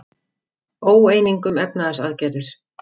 Óeining um efnahagsaðgerðir